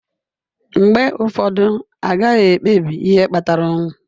Mgbe ụfọdụ, a gaghị ekpebi ihe kpatara ọnwụ.